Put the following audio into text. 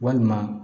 Walima